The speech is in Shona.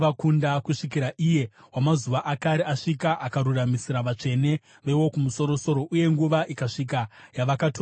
kusvikira Iye Wamazuva Akare asvika akaruramisira vatsvene veWokumusoro-soro, uye nguva ikasvika yavakatora umambo.